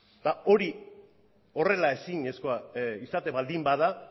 eta hori horrela ezinezkoa izaten baldin bada